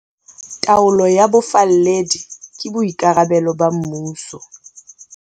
Taolo ya bofalledi ke boikarabelo ba mmuso.